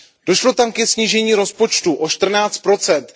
Došlo tam ke snížení rozpočtu o čtrnáct procent.